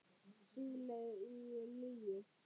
Siðleg lygi.